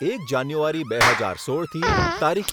એક જાન્યુઆરી બે હજાર સોળથી તારીખ